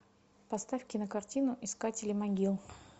поставь кинокартину искатели могил